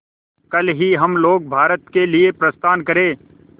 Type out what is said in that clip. कल ही हम लोग भारत के लिए प्रस्थान करें